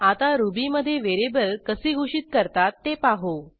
आता रुबीमधे व्हेरिएबल कसे घोषित करतात ते पाहू